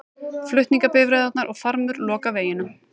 Flutningabifreiðarnar og farmur loka veginum